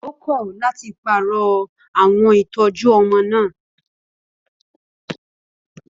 Ó kọ̀ láti pààrọ̀ àwọn ìtọ́jú ọmọ náà.